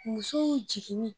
Musow jiginni